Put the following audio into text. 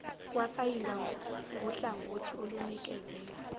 kwasayindwa nguhlangothi olunikezela